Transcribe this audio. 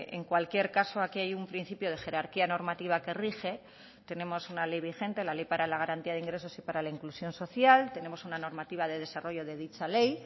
en cualquier caso aquí hay un principio de jerarquía normativa que rige tenemos una ley vigente la ley para la garantía de ingresos y para la inclusión social tenemos una normativa de desarrollo de dicha ley